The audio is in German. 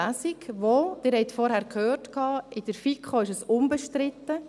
Sie haben vorhin gehört, diese sei in der FiKo unbestritten.